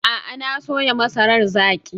A'a, na soya masarar zaki.